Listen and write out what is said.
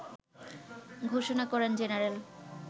ঘোষণা করেন জেনারেল